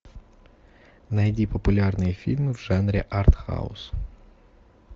найди популярные фильмы в жанре артхаус